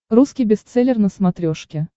русский бестселлер на смотрешке